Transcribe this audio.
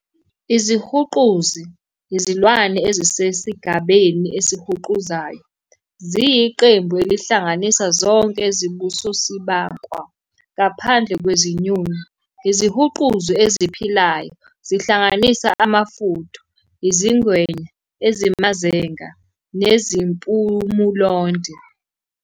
Izihuquzi, izilwane ezisesigabeni ezihuquzayo "Reptilia", ziyiqembu elihlanganisa zonke ezibusosibankwa, "sauropsid", ngaphandle kwezinyoni. Izihuquzi eziphilayo zihlanganisa amafudu "turtles", izingwenya, ezimazenga "squamates", izibankwa nezinyoka, nezimpumulonde "rhynchocephalians", njenge-tuatara.